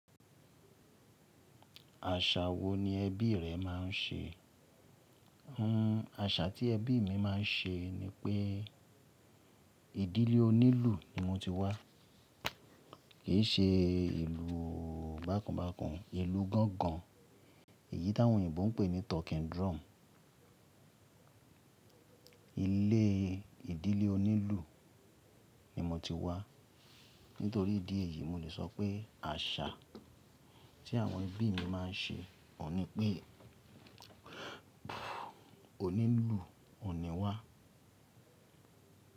Àṣà wo ni ẹbí rẹ máa ń ṣe? Àṣà tí ẹbí mi máa ń ṣe ni pé ìdílé onílù ni mo ti wá. Kì í ṣe ìlù bákanbákan, ìlù gángan èyí tí àwọn òyìnbó ń pè ní talking drum. Ilé ìdílé onílù ni mo ti wá. Nítorí ìdí èyí, mo lè sọ pé àṣà tí àwọn ẹbí mi máa ń ṣe òun ní pé onílù, ò ní wá.